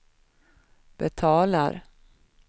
betalar